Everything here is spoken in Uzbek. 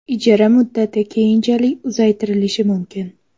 Ijara muddati keyinchalik uzaytirilishi mumkin.